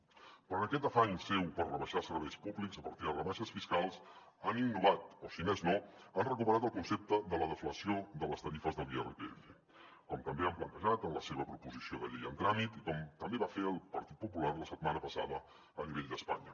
però en aquest afany seu per rebaixar serveis públics a partir de rebaixes fiscals han innovat o si més no han recuperat el concepte de la deflació de les tarifes de l’irpf com també han plantejat en la seva proposició de llei en tràmit i com també va fer el partit popular la setmana passada a nivell d’espanya